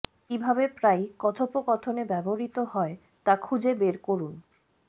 কিভাবে প্রায়ই কথোপকথনে ব্যবহৃত হয় তা খুঁজে বের করুন